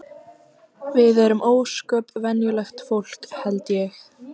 Við erum ósköp venjulegt fólk held ég.